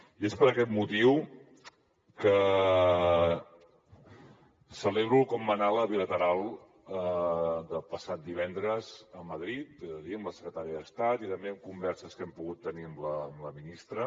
i és per aquest motiu que celebro com va anar la bilateral del passat divendres a madrid ho he de dir amb la secretària d’estat i també en converses que hem pogut tenir amb la ministra